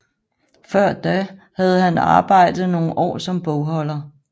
Før da havde han arbejdet nogle år som bogholder